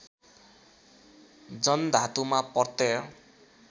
जन धातुमा प्रत्यय